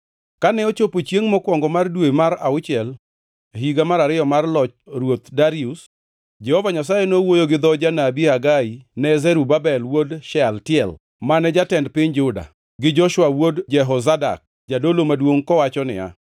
Kane ochopo chiengʼ mokwongo mar dwe mar auchiel, e higa mar ariyo mar loch ruoth Darius, Jehova Nyasaye nowuoyo gi dho janabi Hagai ne Zerubabel wuod Shealtiel, mane jatend piny Juda, gi Joshua wuod Jehozadak, jadolo maduongʼ kowacho niya,